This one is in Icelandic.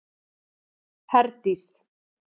Herdís